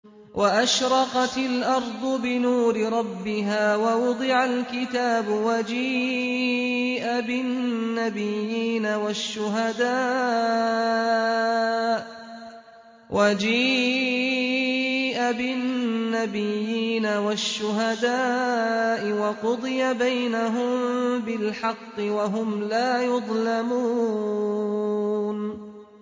وَأَشْرَقَتِ الْأَرْضُ بِنُورِ رَبِّهَا وَوُضِعَ الْكِتَابُ وَجِيءَ بِالنَّبِيِّينَ وَالشُّهَدَاءِ وَقُضِيَ بَيْنَهُم بِالْحَقِّ وَهُمْ لَا يُظْلَمُونَ